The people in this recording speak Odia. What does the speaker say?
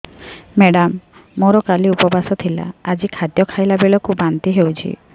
ମେଡ଼ାମ ମୋର କାଲି ଉପବାସ ଥିଲା ଆଜି ଖାଦ୍ୟ ଖାଇଲା ବେଳକୁ ବାନ୍ତି ହେଊଛି